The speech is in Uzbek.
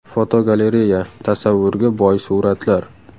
Fotogalereya: Tasavvurga boy suratlar.